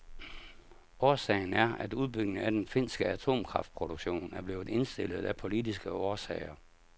Årsagen er, at udbygningen af den finske atomkraftproduktion er blevet indstillet af politiske årsager.